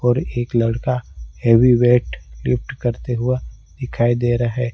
और एक लड़का हैवी वेइट लिफ्ट करते हुए दिखाई दे रहे है।